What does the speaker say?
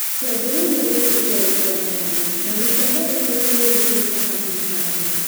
Kũambĩrĩria gĩkĩ kĩarĩ kĩa mwanya na gĩtiathondeketwo nĩ thukuru kana thirikar.